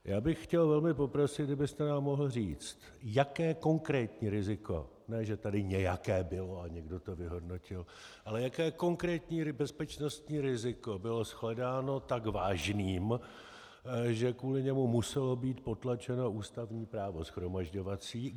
Já bych chtěl velmi poprosit, kdybyste nám mohl říct, jaké konkrétní riziko - ne že tady nějaké bylo a někdo to vyhodnotil - ale jaké konkrétní bezpečnostní riziko bylo shledáno tak vážným, že kvůli němu muselo být potlačeno ústavní právo shromažďovací.